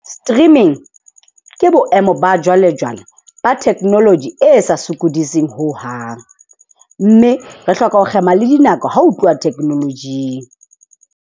Streaming ke boemo ba jwalejwale, ba technology e sa sokodiseng ho hang. Mme re hloka ho kgema le dinako ha ho tluwa technology-ng.